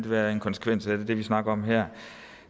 være en konsekvens af alt det vi snakker om her